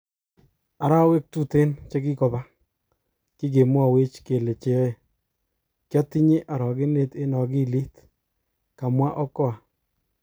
Arawek tuten chekikopa, kigemwowech kele cheyoe, kiotinye orogenet eng okilit kamwa Okoa.